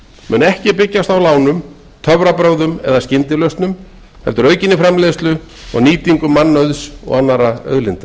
mun ekki byggjast á lánum töfrabrögðum eða skyndilausnum heldur aukinni framleiðslu og nýtingu mannauðs og annarra auðlinda